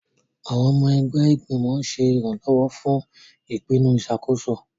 Àwọn ọmọ ẹgbẹ́ ìgbìmọ̀ ń ṣe ìrànlọ́wọ́ fún ìpinnu ìṣàkóso.